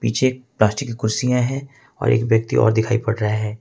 पीछे प्लास्टिक की कुर्सियां है और एक व्यक्ति और दिखाई दे रहा है।